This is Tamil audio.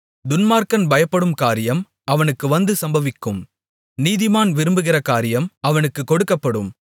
துன்மார்க்கன் பயப்படும் காரியம் அவனுக்கு வந்து சம்பவிக்கும் நீதிமான் விரும்புகிற காரியம் அவனுக்குக் கொடுக்கப்படும்